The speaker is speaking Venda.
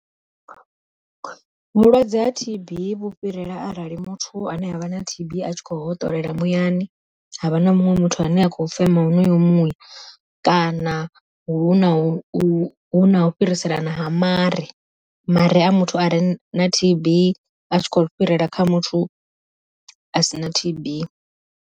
Vhulwadze ha T_B vhu fhirela arali muthu ane avha na T_B a tshi kho hoṱolela muyani, havha na muṅwe muthu ane a kho fema honoyo muya, kana huna u fhiriselana ha mare, mare a muthu a re na T_B a tshi kho fhirela kha muthu a si na T_B.